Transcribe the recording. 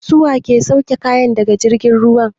Su wa ke sauke kaya daga jirgin ruwa?